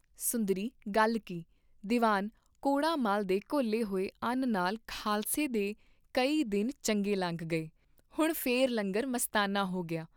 ਸੁੰਦਰੀ ਗੱਲ ਕੀ, ਦੀਵਾਨ ਕੌੜਾ ਮੱਲ ਦੇ ਘੋਲੇ ਹੋਏ ਅੰਨ ਨਾਲ ਖਾਲਸੇ ਦੇ ਕਈ ਦਿਨ ਚੰਗੇ ਲੰਘ ਗਏ, ਹੁਣ ਫੇਰ ਲੰਗਰ ਮਸਤਾਨਾ ਹੋ ਗਿਆ।